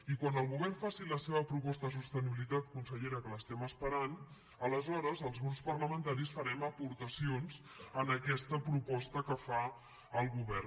i quan el govern faci la seva proposta de sostenibilitat consellera que l’esperem aleshores els grups parlamentaris farem aportacions a aquesta proposta que farà el govern